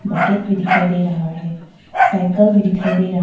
bucket भी दिखाई दे रहा है साइकल भी दिखाई दे रहा--